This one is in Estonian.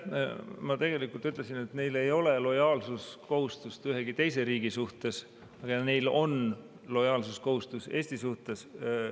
Ma tegelikult ütlesin, et neil ei ole lojaalsuskohustust ühegi teise riigi suhtes ja neil on lojaalsuskohustus Eesti suhtes.